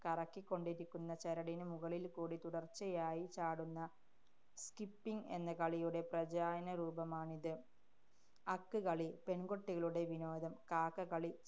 കറക്കിക്കൊണ്ടിരിക്കുന്ന ചരടിന് മുകളില്‍ക്കൂടി തുടര്‍ച്ചയായി ചാടുന്ന skipping എന്ന കളിയുടെ പ്രാചീന രൂപമാണിത്. അക്ക് കളി. പെണ്‍കുട്ടികളുടെ വിനോദം. കാക്കകളി